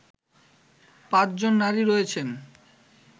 পাঁচজন নারী রয়েছেন